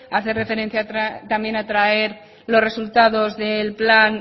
hace referencia también a traer los resultados del plan